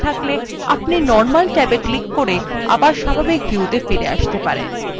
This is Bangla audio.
আপনি normal ট্যাবে ক্লিক করে আবার স্বাভাবিক view ত়ে ফিরে আসতে পারেন